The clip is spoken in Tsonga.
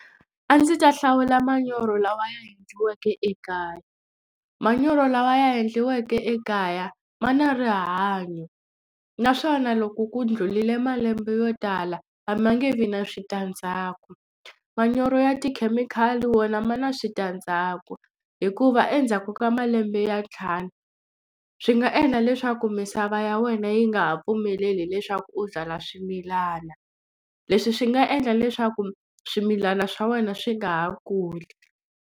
A ndzi ta hlawula manyoro lawa ya endliweke ekaya. Manyoro lawa ya endliweke ekaya ma na rihanyo naswona loko ku ndlhulile malembe yo tala a ma nge vi na switandzhaku. Manyoro ya tikhemikhali wona ma na switandzhaku hikuva endzhaku ka malembe ya ntlhanu swi nga endla leswaku misava ya wena yi nga ha pfumeleli leswaku u byala swimilana. Leswi swi nga endla leswaku swimilana swa wena swi nga ha kuli.